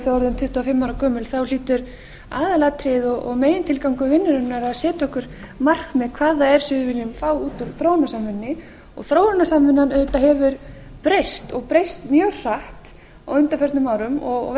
gömul þá hlýtur aðalatriðið og megintilgangur vinnunnar að setja okkur markmið hvað það er sem við viljum fá út úr þróunarsamvinnunni og þróunarsamvinnan auðvitað hefur breyst og breyst mjög hratt á undanförnum árum